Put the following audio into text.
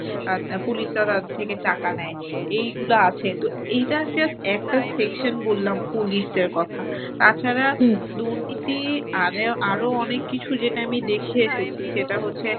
আহ police রা তাদের থেকে টাকা নেয়। এইগুলা আছে তো এইটার just একটি section বললাম police দের কথা। তাছাড়া দুর্নীতি, আর~ আরো অনেক কিছু যেটা আমি দেখে এসেছি সেটা হচ্ছে,